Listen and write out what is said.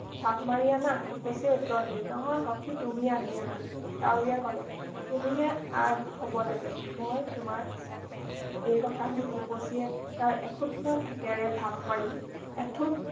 থাপ মাৰি আনা টিপচীয়ে উত্তৰ দিলে নহয় সখি তুমি আগেয়ে আনা কাউৰীয়ে কলে তুমিহে আগ হ’ব লাগে মই তোমাৰ পিছতহে এই কথা শুনি টিপচীয়ে তাৰ এখুদমান ঠোঁটেৰে থাপমাৰি এঠোট